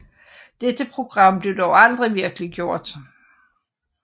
Dette program blev dog aldrig virkeliggjort